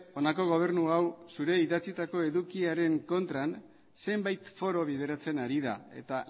honako gobernu hau idatzitako edukiaren kontran zenbait foro bideratzen ari da eta